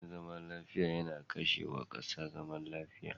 Rashin zaman lafiya yana kashe wa kasa zaman lafiya.